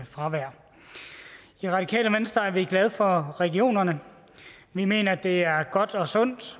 fravær i radikale venstre er vi glade for regionerne vi mener det er godt og sundt